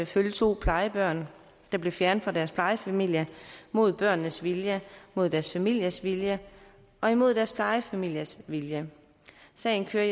følge to plejebørn der blev fjernet fra deres plejefamilie mod børnenes vilje mod deres familiers vilje og imod deres plejefamilies vilje sagen kører